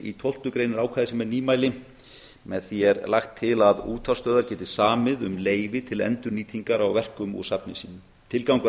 í tólftu grein er ákvæði sem er nýmæli með því er lagt til að útvarpsstöðvar geti samið um leyfi til endurnýtingar á verkum úr safni sínu tilgangur